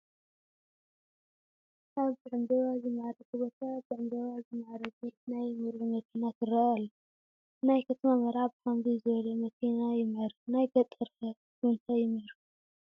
ኣብ ብዕምባባ ዝማዕረገ ቦታ ብዕምባባ ዝማዕረገት ናይ መርዑ መኪና ትርአ ኣላ፡፡ ናይ ከተማ መርዓ ብኸምዚ ዝበለት መኪና ይምዕርግ ናይ ገጠር ከ ብምንታይ ይምዕርግ?